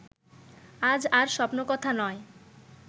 আজ আর স্বপ্নকথা নয়